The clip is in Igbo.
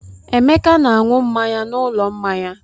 Emeka na-aṅụ mmanya n'ụlọ mmanya.